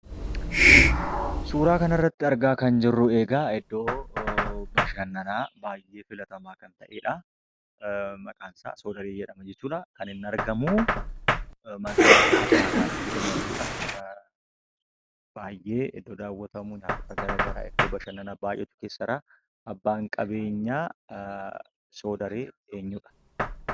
Suuraa kanarratti argaa kan jirru egaa iddoo bashannanaa baay'ee filatamaa kan ta'edha. Maqaan isaa Sodaree jedhama jechuudha. kan inni argamu magaalaa Adaamaattidha jechuudha. Baay'ee iddoo daawwatamu , nyaatota garagaraa, iddoo bashannannaa baay'eetu keessa jiraa. Abbaan qabeenyaa Soodaree eenyudha?